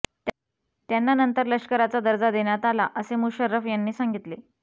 त्यांना नंतर लष्कराचा दर्जा देण्यात आला असे मुशर्रफ यांनी सांगितले